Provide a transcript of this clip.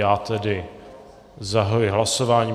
Já tedy zahajuji hlasování.